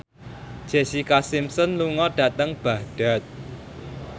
Jessica Simpson lunga dhateng Baghdad